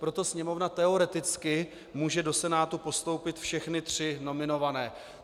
Proto Sněmovna teoreticky může do Senátu postoupit všechny tři nominované.